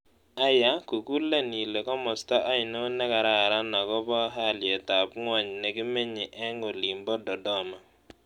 Aya gugulen ile komosta ainon ne kararan ago po alyetap ng'wony ne kimenye eng' oli po dodoma